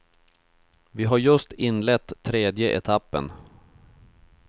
Vi har just inlett tredje etappen.